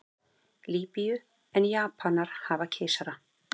Lýbíu en Japanir hafa keisara.